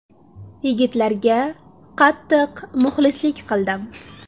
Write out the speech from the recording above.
Yigitlarga qattiq muxlislik qildim.